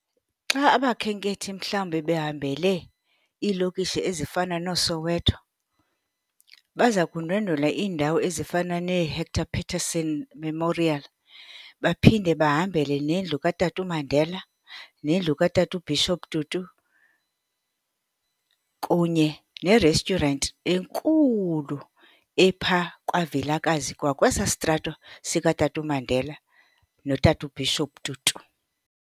Xa abakhenkethi mhlawumbi behambele iilokishi ezifana nooSoweto baza kundwendwela iindawo ezifana neeHector Peterson Memorial. Baphinde bahambele nendlu kaTata uMandela nendlu kaTata uBishop Tutu kunye ne-restaurant enkulu epha kwaVilakazi kwakwesaa sitrato sikaTata uMandela noTata uBishop Tutu.